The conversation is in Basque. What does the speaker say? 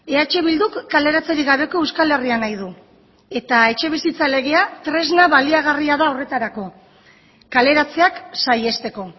eh bilduk kaleratzerik gabeko euskal herria nahi du eta etxebizitza legea tresna baliagarria da horretarako kaleratzeak saihesteko